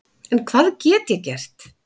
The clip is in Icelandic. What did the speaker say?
En hvað get ég gert?